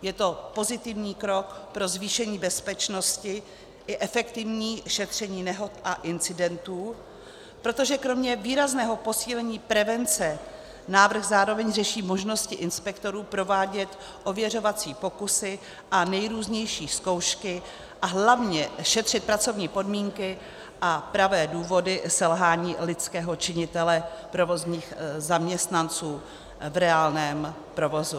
Je to pozitivní krok pro zvýšení bezpečnosti i efektivní šetření nehod a incidentů, protože kromě výrazného posílení prevence návrh zároveň řeší možnosti inspektorů provádět ověřovací pokusy a nejrůznější zkoušky a hlavně šetřit pracovní podmínky a pravé důvody selhání lidského činitele, provozních zaměstnanců v reálném provozu.